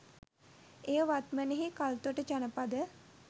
එය වත්මනෙහි කල්තොට ජනපද